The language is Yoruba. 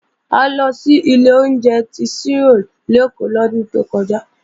A lọ sí ilé oúnjẹ tí Ṣírò lèkó lọ́dún tó kọjá